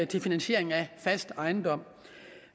til finansiering af fast ejendom